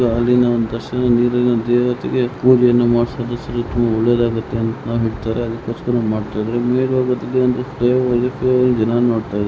ಇದು ಯಾವುದೋ ಒಂದು ನದಿ ತರ ಕಾಣ್ತಾ ಇದೆ ನೀರಿನಲ್ಲಿ ಸ್ನಾನ ಮಾಡಿ ಹೂ ಕಡ್ಡಿಯನ್ನು ಬೆಳಗುವ ಕಾರ್ಯಕ್ರಮವನ್ನು ಮಾಡುತ್ತಿದ್ದಾರೆ.